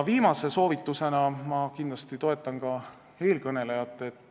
Viimase soovitusena ütlen, et ma kindlasti toetan eelkõnelejat.